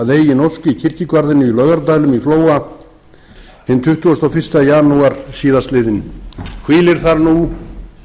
í kirkjugarðinum í laugardælum í flóa hinn tuttugasta og fyrsta janúar síðastliðinn hvílir þar nú í